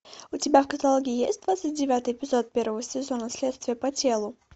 у тебя в каталоге есть двадцать девятый эпизод первого сезона следствие по телу